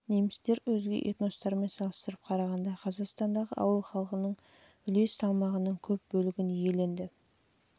бөлігін құрады және өзге этностармен салыстырып қарағанда қазақстандағы ауыл халқының үлес салмағының көп бөлігін иеленді